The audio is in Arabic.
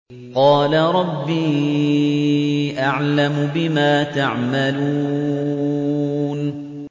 قَالَ رَبِّي أَعْلَمُ بِمَا تَعْمَلُونَ